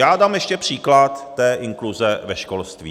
Já dám ještě příklad té inkluze ve školství.